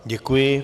Děkuji.